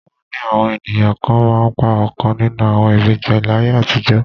Wọ́n ni àwọn ènìyàn kan máa ń pa ọ̀kan nínú àwọn ìbejì láyé àtijọ́